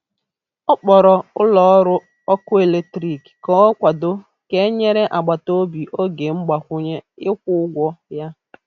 Ọ kpọrọ ụlọ ọrụ ọkụ eletrik ka ọ kwado ka e nyere agbata obi oge mgbakwunye ịkwụ ụgwọ ya.